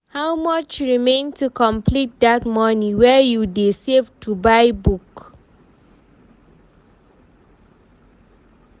How much remain to complete dat money wey you dey save to buy book?